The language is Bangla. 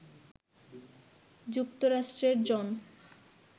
যুক্তরাষ্ট্রের জন